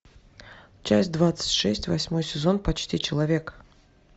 часть двадцать шесть восьмой сезон почти человек